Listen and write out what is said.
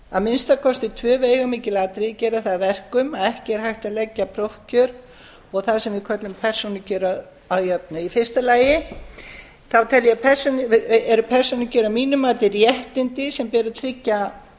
að minnsta kosti tvö veigamikil atriði gera það að verkum að ekki er hægt að leggja prófkjör og það sem við köllum persónukjör að jöfnu í fyrsta lagi þá eru persónukjör að mínu mati réttindi sem ber að